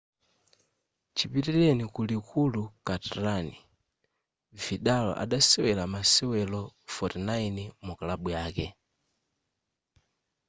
chipitileni ku likulu catalan vidal adasewera masewero 49 mukalabu yake